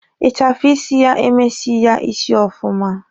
Ịchafụ isi ya emesighi ya isi ọfụma.